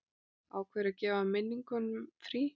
Ákveður að gefa minningum frí.